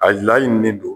A laɲinin ne do